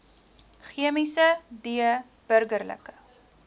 chemiese d burgerlike